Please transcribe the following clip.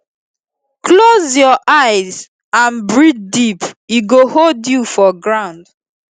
close your eye and breathe deep e go hold you for ground